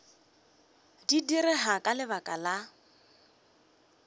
di direga ka lebaka la